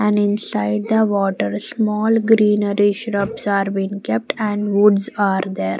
and inside the water small greenery shrubs are been kept and woods are there.